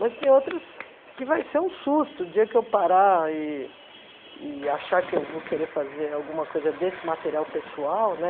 Mas tem outras que vai ser um susto, o dia que eu parar e e achar que eu vou querer fazer alguma coisa desse material pessoal, né?